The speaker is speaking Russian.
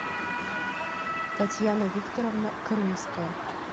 татьяна викторовна крымская